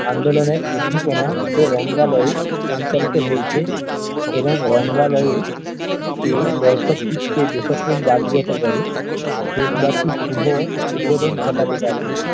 আন্দোলনের উদ্দীপনা ও রঙ্গালয়ে সঞ্চালিত হয়েছে এবং রঙ্গালয়ে ও কে দর্শক চিত্রে দেশপ্রেম জাগ্রত করে দেশ বাসির শুভ উদ্বোধন ঘটাতে পারে